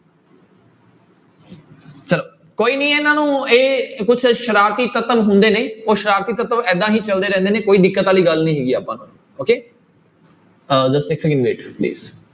ਕੋਈ ਨੀ ਇਹਨਾਂ ਨੂੰ ਇਹ ਕੁਛ ਸ਼ਰਾਰਤੀ ਤੱਤਵ ਹੁੰਦੇ ਨੇ ਉਹ ਸ਼ਰਾਰਤੀ ਤੱਤਵ ਇੱਦਾਂ ਹੀ ਚੱਲਦੇ ਰਹਿੰਦੇ ਨੇ ਕੋਈ ਦਿੱਕਤ ਵਾਲੀ ਗੱਲ ਨੀ ਹੈਗੀ ਆਪਾਂ ਨੂੰ okay ਅਹ